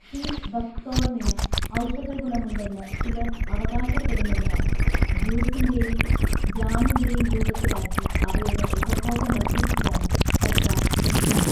See ബക്ക്തോർണിനു ഔഷധഗുണമുണ്ടെന്ന് ചിലർ അവകാശപ്പെടുന്നതിനാൽ ജ്യൂസിന്റെയും ജാമിന്റെയും രൂപത്തിലാക്കി അവയുടെ ഉപഭോഗം വർദ്ധിപ്പിക്കാൻ സർക്കാർ ശ്രമിക്കുന്നു.